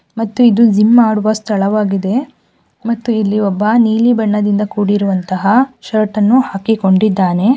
ಮತ್ತು ಇದು ಜಿಮ್ ಮಾಡುವ ಸ್ಥಳವಾಗಿದೆ ಮತ್ತೆ ಇಲ್ಲಿ ಒಬ್ಬ ನೀಲಿ ಬಣ್ಣದಿಂದ ಕೂಡಿರುವಂತಹ ಷರ್ಟ್ ಅನ್ನು ಹಾಕಿಕೊಂಡಿದ್ದಾನೆ.